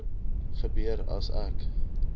gebeur as ek